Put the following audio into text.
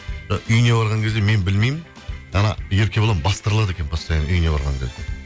і үйіне барған кезде мен білмеймін ана еркебұлан бастырлады екен постоянно үйіне барған кезде